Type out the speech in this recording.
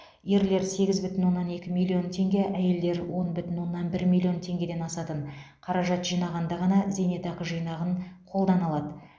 ерлер сегіз бүтін оннан екі миллион теңге әйелдер он бүтін оннан бір миллион теңгеден асатын қаражат жинағанда ғана зейнетақы жинағын қолдана алады